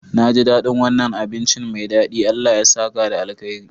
Naji daɗin wannan abinci mai daɗi, Allah ya saka da alkhairi.